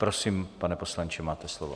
Prosím, pane poslanče, máte slovo.